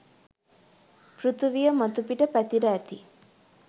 පෘතුවිය මතුපිට පැතිර ඇති